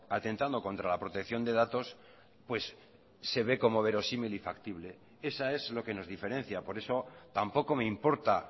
atentando contra la protección de datos pues se ve como verosímil y factible esa es lo que nos diferencia por eso tampoco me importa